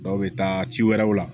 Dɔw bɛ taa ci wɛrɛw la